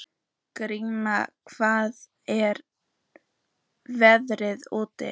Grímey, hvernig er veðrið úti?